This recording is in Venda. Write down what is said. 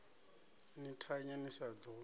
ni thanye ni sa ḓo